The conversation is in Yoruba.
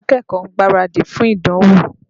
Àwọn akẹ́kọ̀ọ́ ń gbaradì fún ìdánwò.